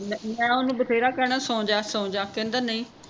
ਮੈਂ ਮੈਂ ਓਹਨੂੰ ਬਥੇਰਾ ਕਹਿਣਾ ਸੌਂਜਾ ਸੌਂਜਾ ਕਹਿੰਦਾ ਨਹ